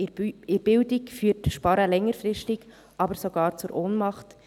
in der Bildung führt Sparen aber längerfristig sogar zu Ohnmacht.